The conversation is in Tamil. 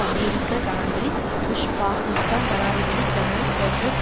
அமெரிக்க ஜனாதிபதி புஷ் பாகிஸ்தான் ஜனாதிபதி ஜெனரல் பெர்வெஸ்